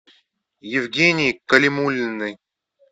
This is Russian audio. евгении калимуллиной